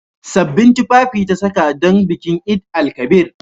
Sabbin tufafi ta saka don bikin Eid-el-kabir.